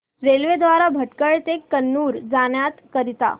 railway द्वारे भटकळ ते कन्नूर जाण्या करीता